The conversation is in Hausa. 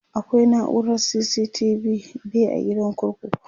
akwai naurar CCTV be a gidan kurkuku